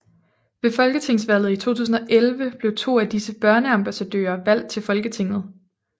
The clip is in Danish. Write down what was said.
Ved folketingsvalget i 2011 blev to af disse børneambassadører valgt til Folketinget